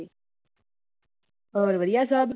ਹੋਰ ਵਧੀਆ ਸਭ।